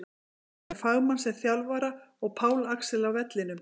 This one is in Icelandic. Enda með fagmann sem þjálfara og Pál Axel á vellinum!